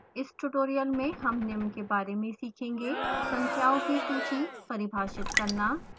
इस tutorial में हम निम्न के बारे में सीखेंगेः